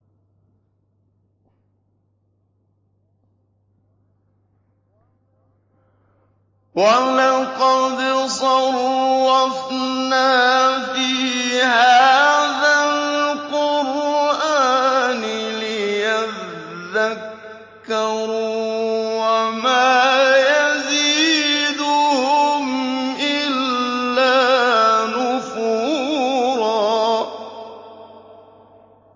وَلَقَدْ صَرَّفْنَا فِي هَٰذَا الْقُرْآنِ لِيَذَّكَّرُوا وَمَا يَزِيدُهُمْ إِلَّا نُفُورًا